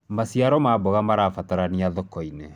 maciaro ma mboga marabataranĩa thoko-inĩ